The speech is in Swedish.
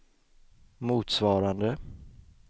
motsvarande